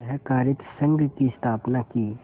सहाकारित संघ की स्थापना की